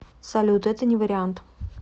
салют это не вариант